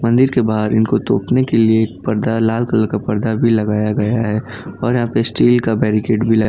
मंदिर के बाहर इनको तोपने के लिए एक पर्दा लाल कलर का पर्दा भी लगाया गया है और यहां पे स्टील का बैरिकेट भी लगा--